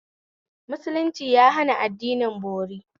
Musulunci ya hana addinin bori